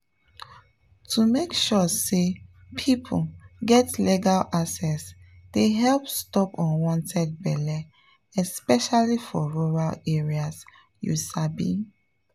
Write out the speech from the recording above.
to make sure say people get legal access dey help stop unwanted belle especially for rural areas… you sabi